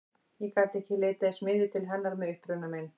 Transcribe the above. Ég gat ekki leitað í smiðju til hennar með uppruna minn.